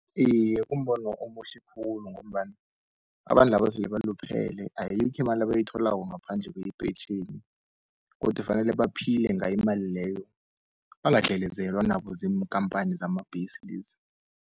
Iye, kumbono omuhle khulu ngombana abantu laba sele baluphele, ayikho imali abayitholako ngaphandle kweyepentjheni. Godu kufanele baphile ngayo imali leyo, bangadlelezelwa nabo ziinkhampani zamabhesi lezi.